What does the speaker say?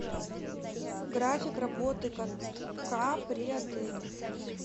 график работы катка при отеле